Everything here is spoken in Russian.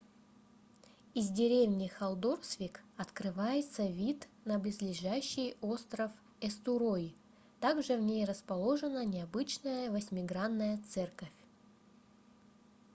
из деревни халдорсвик открывается вид на близлежащий остров эстурой также в ней расположена необычная восьмигранная церковь